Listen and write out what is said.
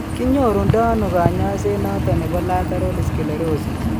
kinyoru ndo ano kanyaiset noton nebo lateral sclerosis?